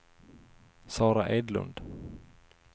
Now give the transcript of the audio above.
Sara Edlund